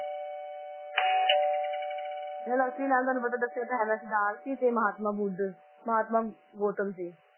ਇਹਨਾਂ ਦਾ ਅਸਲੀ ਨਾਮ ਤੁਹਾਨੂੰ ਪਤਾ ਦੱਸਿਆ ਤਾਂ ਹੈ ਮੈਂ ਸਿਧਾਰਥ ਸੀ ਤੇ ਮਹਾਤਮਾ ਬੁੱਧ ਮਹਾਤਮਾ ਗੋਤਮ ਸੀ।